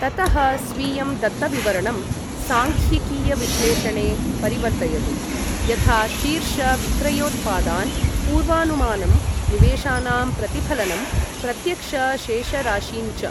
ततः, स्वीयं दत्तविवरणं साङ्ख्यिकीयविश्लेषणे परिवर्तयतु, यथा शीर्ष विक्रयोत्पादान्, पूर्वानुमानम्, निवेशानां प्रतिफलनम्, प्रत्यक्ष शेषराशीन् च ।